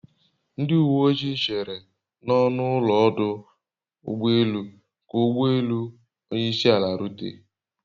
Ndi uwe ojii chere n'ọnụ ụlọ ọdụ ụgbọ elu ka ụgbọ elu onyeisiala rute